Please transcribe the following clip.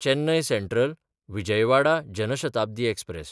Chennai सँट्रल–विजयवाडा Jan Shatabdi express